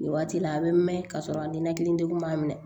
Nin waati la a bɛ mɛn ka sɔrɔ a ninakili degun ma minɛ